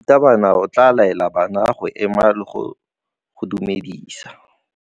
Morutabana o tla laela bana go ema le go go dumedisa.